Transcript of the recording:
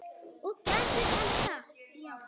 Og gerði hann það?